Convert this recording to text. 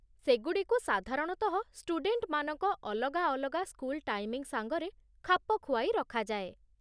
ସେଗୁଡ଼ିକୁ ସାଧାରଣତଃ ଷ୍ଟୁଡେଣ୍ଟମାନଙ୍କ ଅଲଗା ଅଲଗା ସ୍କୁଲ ଟାଇମିଂ ସାଙ୍ଗରେ ଖାପ ଖୁଆଇ ରଖାଯାଏ ।